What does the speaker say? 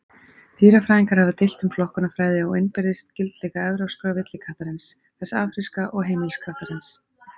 Dýrafræðingar hafa deilt um flokkunarfræði og innbyrðis skyldleika evrópska villikattarins, þess afríska og heimiliskattarins.